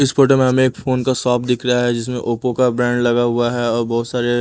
इस फोटो में हमें एक फोन का शॉप दिख रहा है जिसमें ओप्पो का ब्रेंड लगा हुआ है और बहोत सारे--